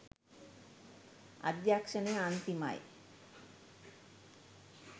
අධ්‍යක්ෂණය අන්තිමයි